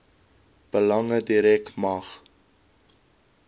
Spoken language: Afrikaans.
belange direk mag